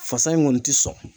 Fasa in kɔni ti sɔn.